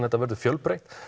þetta verður fjölbreytt